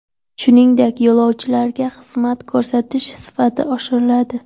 Shuningdek, yo‘lovchilarga xizmat ko‘rsatish sifati oshiriladi.